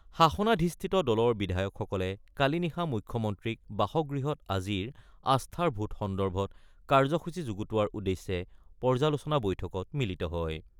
শাসনাধিষ্ঠিত দলৰ বিধায়কসকলে কালি নিশা মুখ্যমন্ত্ৰীক বাসগৃহত আজিৰ আস্থাৰ ভোট সন্দৰ্ভত কাৰ্যসূচী যুগুতোৱাৰ উদ্দেশ্যে পৰ্যালোচনা বৈঠকত মিলিত হয়।